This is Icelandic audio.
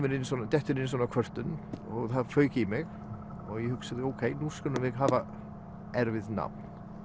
dettur inn svona kvörtun og það fauk í mig og ég hugsaði ókei nú skulum við hafa erfitt nafn